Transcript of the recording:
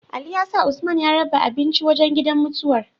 Ali ya sa usman ya raba abinci wajan gidan mutuwar